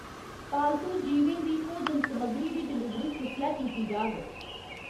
पालतू जीवें दी भोजन समग्गरी दी डलीवरी कुसलै कीती जाग?